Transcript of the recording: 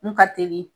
Mun ka teli